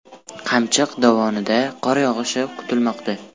Qamchiq dovonida qor yog‘ishi kutilmoqda.